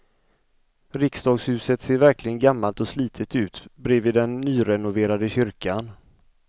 Riksdagshuset ser verkligen gammalt och slitet ut bredvid den nyrenoverade kyrkan.